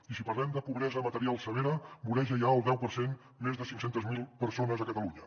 i si parlem de pobresa material severa voreja ja el deu per cent més de cinc cents miler persones a catalunya